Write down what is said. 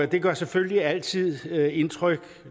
det gør selvfølgelig altid indtryk